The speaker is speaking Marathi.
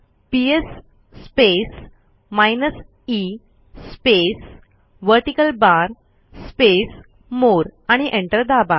PS space minus e space vertical bar space more आणि एंटर दाबा